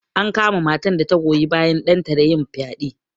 An kama matan da ta goyi bayan ɗanta da yin fyaɗe.